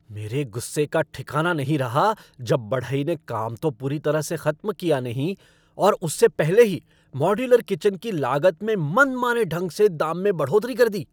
मेरे गुस्से का ठिकाना नहीं रहा जब बढ़ई ने काम तो पूरी तरह से खत्म किया नहीं और उससे पहले ही मॉड्यूलर किचन की लागत में मनमाने ढंग से दाम में बढ़ोतरी कर दी।